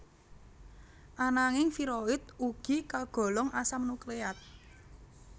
Ananging viroid ugi kagolong asam nukleat